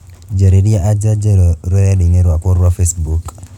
njararĩa anja njerũ rũredainĩ rwakwa rwa Facebook